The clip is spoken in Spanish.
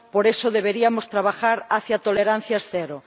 Por eso, deberíamos trabajar hacia tolerancias cero.